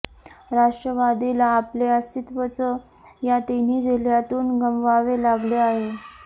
राष्ट्रवादीला आपले अस्तित्त्वच या तिन्ही जिल्ह्यांतून गमवावे लागले आहे